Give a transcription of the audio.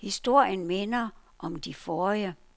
Historien minder om de forrige.